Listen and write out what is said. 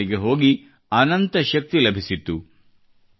ನನಗೆ ಅಲ್ಲಿಗೆ ಹೋಗಿ ಅನಂತ ಶಕ್ತಿ ಲಭಿಸಿತ್ತು